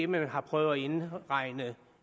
man har prøvet at indregne